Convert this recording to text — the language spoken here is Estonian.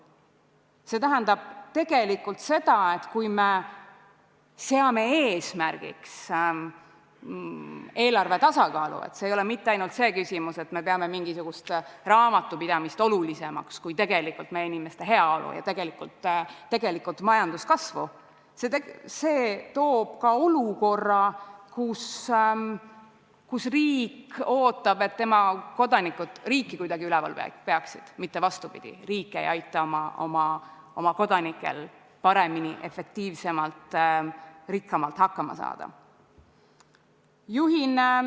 See tähendab seda, et kui me seame eesmärgiks eelarve tasakaalu – see ei ole mitte ainult see küsimus, et me peame mingisugust raamatupidamist olulisemaks kui meie inimeste heaolu ja majanduskasvu –, siis see toob ka olukorra, kus riik ootab, et tema kodanikud riiki kuidagi üleval peaksid, mitte vastupidi, riik ei aita oma kodanikel paremini, efektiivsemalt, rikkamalt hakkama saada.